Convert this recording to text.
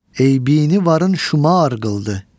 Eybinə varın şümar qıldı.